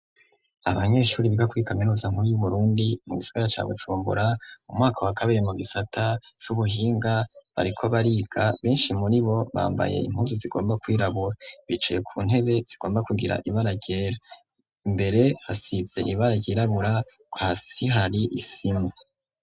Abanyeshuri biga kuri kaminuza nkuru y'u Burundi, mu gisagara ca Bujumbura mu mwaka wa kabiri mu gisata c'ubuhinga, bariko bariga, benshi muri bo bambaye impunzu zigomba kwirabura, bicaye ku ntebe zigomba kugira ibara ryera, imbere hasize ibara ryirabura, hasi hari isima.